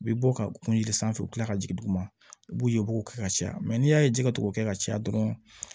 U bɛ bɔ ka kuŋo ɲini sanfɛ u bɛ tila ka jigin duguma b'u ye u b'o kɛ ka caya n'i y'a ye jɛgɛ tugu kɛ ka caya dɔrɔn